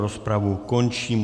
Rozpravu končím.